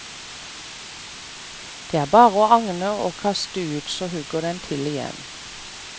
Det er bare å agne og kaste ut, så hugger den til igjen.